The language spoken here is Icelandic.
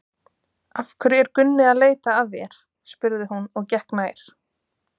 Af hverju er Gunni að leita að þér? spurði hún og gekk nær.